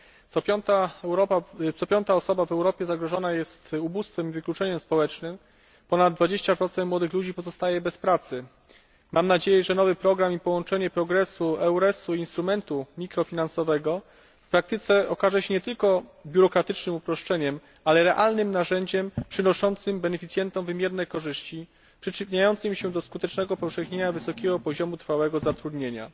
Co piąta osoba w Europie zagrożona jest ubóstwem i wykluczeniem społecznym. Ponad 20 młodych ludzi pozostaje bez pracy. Mam nadzieję, że nowy program i połączenie PROGRESU, EURESU i instrumentu mikrofinansowego okaże się w praktyce nie tylko biurokratycznym uproszczeniem, ale realnym narzędziem przynoszącym beneficjentom wymierne korzyści, przyczyniającym się do skutecznego upowszechnienia wysokiego poziomu trwałego zatrudnienia.